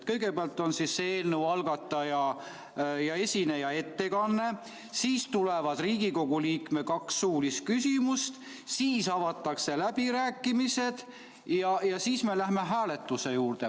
Kõigepealt on eelnõu algataja ja esindaja ettekanne, siis tulevad Riigikogu liikme kaks suulist küsimust, siis avatakse läbirääkimised ja siis me läheme hääletuse juurde.